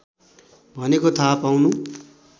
भनेको थाहा पाउनु